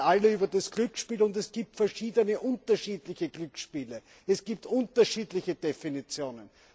Wir reden alle über das Glücksspiel, es gibt aber verschiedene unterschiedliche Glücksspiele, es gibt unterschiedliche Definitionen.